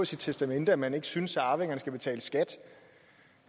sit testamente at man ikke synes at arvingerne skal betale skat